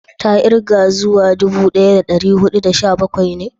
ta kirga zuwa dubu daya da dari hudu da sha bakwai ne?